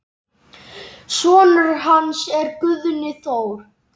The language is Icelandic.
Sonur hans er Guðni Þór.